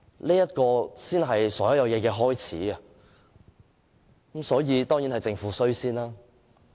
這才是所有問題的開始，所以，首先當然是政府的錯。